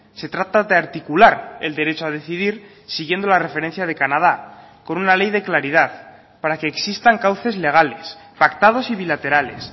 se trata de articular el derecho a decidir siguiendo la referencia de canadá con una ley de claridad para que existan cauces legales pactados y bilaterales